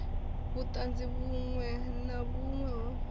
vhutanzi vhunwe na vhunwe ho